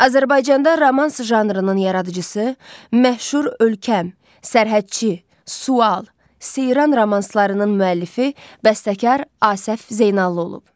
Azərbaycanda romans janrının yaradıcısı, məşhur “Ölkəm”, “Sərhədçi”, “Sual”, “Seyran” romanslarının müəllifi, bəstəkar Asəf Zeynallı olub.